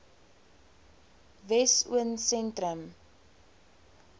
wessosentrum